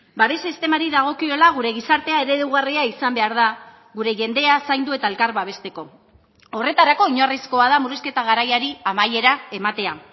babes sistemari dagokiola gure gizartea eredugarria izan behar da gure jendea zaindu eta elkar babesteko horretarako oinarrizkoa da murrizketa garaiari amaiera ematea